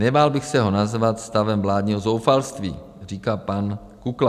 Nebál bych se ho nazvat stavem vládního zoufalství, říká pan Kukla.